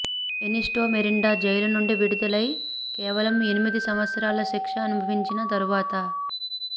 ఎనిస్టో Miranda jail నుండి విడుదలై కేవలం ఎనిమిది సంవత్సరాల శిక్ష అనుభవించిన తరువాత